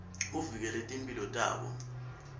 uvikele timphilo tabo